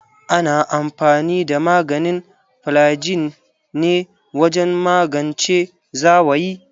Ana amfani da maganin flygin ne wajen magance zawayi.